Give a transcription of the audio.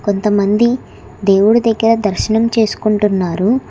కొంతమంది దేవుడి దగ్గర దర్శనం చేసుకొంటున్నారు.